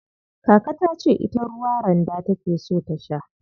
Kaka tace ita ruwa randa take so ta sha.